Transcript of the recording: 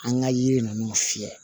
An ka yiri ninnu fiyɛ